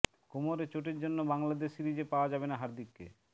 কোমরের চোটের জন্য বাংলাদেশ সিরিজে পাওয়া যাবে না হার্দিককে